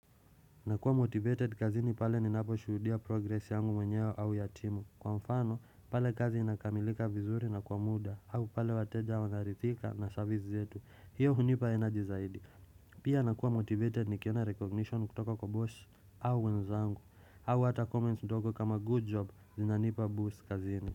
Nakua motivated kazini pale ninapo shuhudia progresi yangu wenyewe au yatimu Kwa mfano pale kazi inakamilika vizuri na kwa muda au pale wateja wanarithika na service zetu hiyo hunipa energy zaidi Pia nakua motivated nikiona recognition kutoka kwa boss au wenzangu au hata comments ndogo kama good job zinanipa boost kazini.